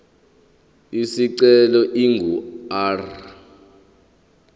isicelo ingu r